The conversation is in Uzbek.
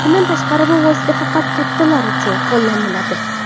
Bundan tashqari, bu vosita faqat kattalar uchun qo‘llaniladi.